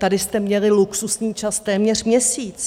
Tady jste měli luxusní čas téměř měsíc.